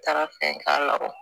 Taara fɛn k'a yɔrɔ